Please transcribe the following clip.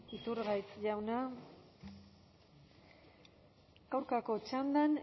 iturgaiz jauna aurkako txandan